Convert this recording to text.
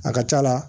A ka c'a la